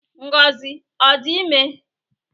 Ngozi ọ dị ime?